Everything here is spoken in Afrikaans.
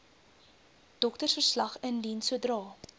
doktersverslag indien sodra